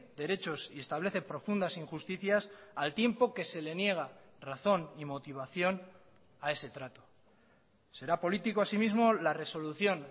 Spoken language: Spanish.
derechos y establece profundas injusticias al tiempo que se le niega razón y motivación a ese trato será político así mismo la resolución